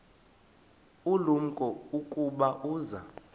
ulumko ukuba uza